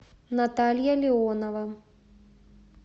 наталья леонова